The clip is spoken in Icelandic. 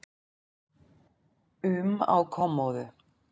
um á kommóðu.